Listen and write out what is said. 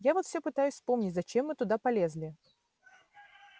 я вот всё пытаюсь вспомнить зачем мы туда полезли